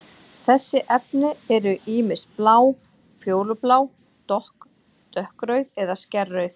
Þessi efni eru ýmist blá, fjólublá, dökkrauð eða skærrauð.